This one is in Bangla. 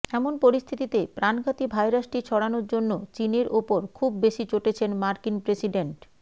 এমন পরিস্থিতিতে প্রাণঘাতী ভাইরাসটি ছড়ানোর জন্য চীনের ওপর খুব বেশি চটেছেন মার্কিন প্রেসিডেন্ট